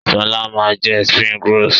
Sọlá máa jẹ "springrolls".